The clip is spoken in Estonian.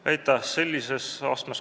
Aitäh!